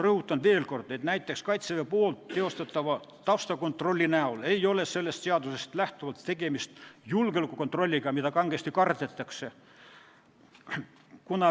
Rõhutan veel kord, et näiteks Kaitseväe taustakontroll ei ole sellest seadusest lähtuvalt julgeolekukontroll, mida kangesti kardetakse.